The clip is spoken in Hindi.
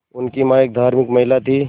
उनकी मां एक धार्मिक महिला थीं